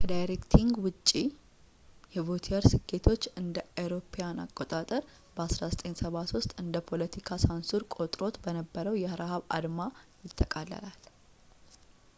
ከዳይሬክቲንግ ውጭ የቮቲየር ስኬቶች እ.ኤ.አ. በ 1973 እንደ ፖለቲካ ሳንሱር ቆጥሮት በነበረው ላይ የረሃብ አድማ ያጠቃልላል